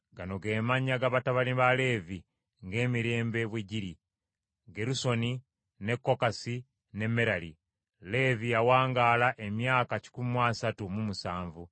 Gano ge mannya ga batabani ba Leevi ng’emirembe bwe giri: Gerusoni ne Kokasi ne Merali. Leevi yawangaala emyaka kikumi mu asatu mu musanvu.